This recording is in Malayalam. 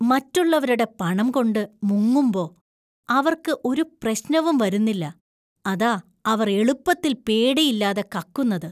മറ്റുള്ളവരുടെ പണം കൊണ്ട് മുങ്ങുമ്പോ അവർക്ക് ഒരു പ്രശ്നവും വരുന്നില്ല, അതാ അവർ എളുപ്പത്തിൽ പേടിയില്ലാതെ കക്കുന്നത് .